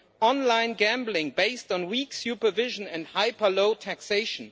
online gambling based on weak supervision and hyper low taxation.